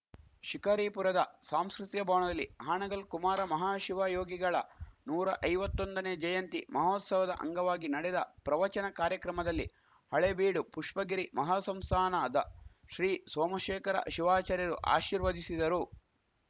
ಶಿಕಾರಿಪುರದ ಸಾಂಸ್ಕೃತಿಕ ಭವಣದಲ್ಲಿ ಹಾಣಗಲ್‌ ಕುಮಾರ ಮಹಾಶಿವಯೋಗಿಗಳ ನೂರ ಐವತ್ತೊಂದನೇ ಜಯಂತಿ ಮಹೋತ್ಸವದ ಅಂಗವಾಗಿ ನಡೆದ ಪ್ರವಚನ ಕಾರ್ಯಕ್ರಮದಲ್ಲಿ ಹಳೇಬೀಡು ಪುಷ್ಪಗಿರಿ ಮಹಾಸಂಸ್ಥಾನದ ಶ್ರೀ ಸೋಮಶೇಖರ ಶಿವಾಚಾರ್ಯರು ಆಶೀರ್ವದಿಸಿದರು